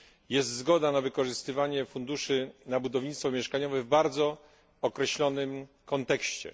jest zgoda na wykorzystywanie funduszy na budownictwo mieszkaniowe w bardzo określonym kontekście.